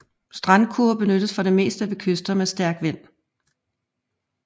Strandkurve benyttes for det meste ved kyster med stærk vind